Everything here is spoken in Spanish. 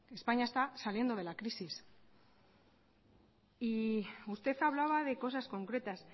españa está saliendo de la crisis y usted hablaba de cosas concretas